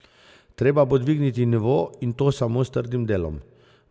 Treba bo dvigniti nivo, in to samo s trdim delom.